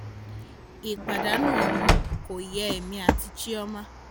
ìpàdánù ọmọ kò yé èmi àti chioma